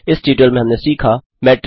इस ट्यूटोरियल में हमने सीखा 1